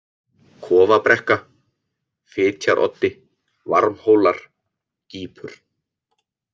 Kofabrekka, Fitjaroddi, Varmhólar, Gípur